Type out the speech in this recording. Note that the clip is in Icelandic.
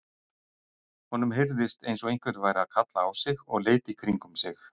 Honum heyrðist eins og einhver væri að kalla á sig og leit í kringum sig.